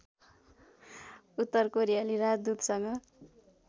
उत्तर कोरियाली राजदूतसँग